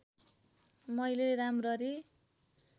मैले राम्ररी